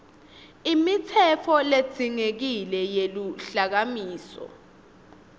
imitsetfo ledzingekile yeluhlakasimo